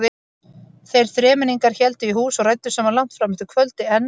Þeir þremenningar héldu í hús og ræddu saman langt fram eftir kvöldi en